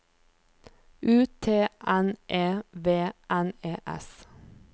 U T N E V N E S